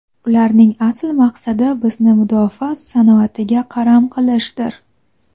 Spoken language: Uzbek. Ularning asl maqsadi bizni mudofaa sanoatiga qaram qilishdir.